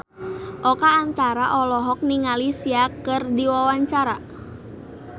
Oka Antara olohok ningali Sia keur diwawancara